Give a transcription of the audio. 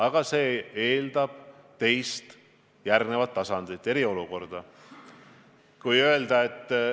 Aga see eeldab teise, järgmise tasandi ehk eriolukorra kehtestamist.